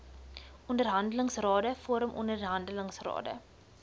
onderhandelingsrade vorm onderhandelingsrade